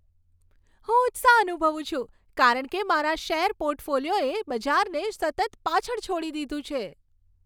હું ઉત્સાહ અનુભવું છું, કારણ કે મારા શેર પોર્ટફોલિયોએ બજારને સતત પાછળ છોડી દીધું છે.